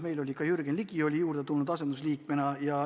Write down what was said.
Asendusliikmena osales ka Jürgen Ligi.